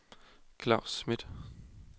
Klaus Smith